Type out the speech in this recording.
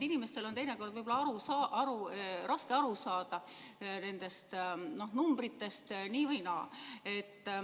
Inimestel on teinekord võib-olla raske nendest riigieelarve või RES-i numbritest aru saada.